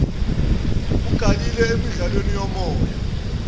ugalelile emidlalweni yomoya